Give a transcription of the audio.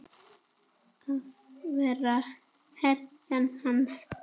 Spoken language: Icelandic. Að þú værir hetjan hans.